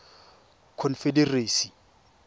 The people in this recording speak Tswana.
confederacy